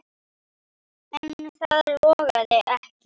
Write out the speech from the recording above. En það logaði ekki.